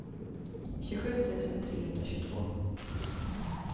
tjugosju tusen trehundratjugotvå